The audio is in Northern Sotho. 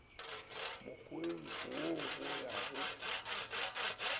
mokgweng wo go ya go